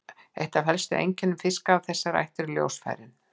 Eitt af helstu einkennum fiska af þessari ætt eru ljósfærin.